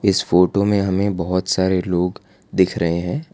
इस फोटो में हमें बहोत सारे लोग दिख रहे हैं।